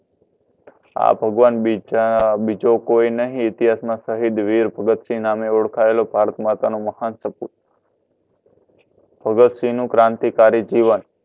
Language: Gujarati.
આ ભગવાન બીજો કોઈ નહિ ઇતિહાસમાં શહીદ વીર ભગતસિંહના નામે ઓળખાયેલો ભારત માતાનો મહાન ભગતસિંહનું ક્રાંતિકારી જીવન